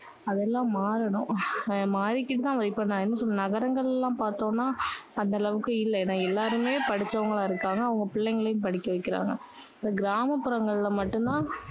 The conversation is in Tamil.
அதெல்லாம் மாறணும். மாறிகிட்டு தான் இப்போ நான் என்ன சொல்றது, நகரங்களில எல்லாம் பாத்தோம்னா அந்த அளவுக்கு இல்ல. ஏன்னா எல்லாருமே படிச்சவங்களா இருக்காங்க. அவங்க பிள்ளைங்களையும் படிக்க வைக்கறாங்க. இப்போ கிராமப்புறங்கள்ல மட்டும் தான்